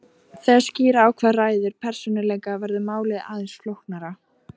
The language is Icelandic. Þegar skýra á hvað ræður persónuleika verður málið aðeins flóknara.